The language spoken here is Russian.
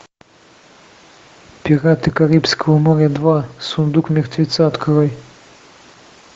пираты карибского моря два сундук мертвеца открой